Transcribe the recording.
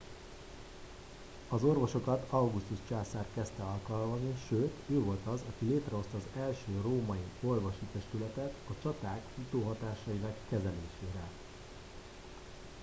az orvosokat augustus császár kezdte alkalmazni sőt ő volt az aki létre hozta az első római orvosi testületet a csaták utóhatásainak kezelésére